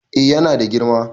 Eh yana da girma